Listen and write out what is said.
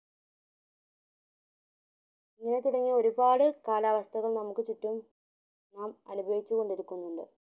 ഇങ്ങനെ തുടങ്ങിയ ഒരുപാട് കാലാവസഥകളും നമുക് ചുറ്റുവും നാം അനുഭവിച്ചക്കോണ്ടിരുക്കുനീണ്ടു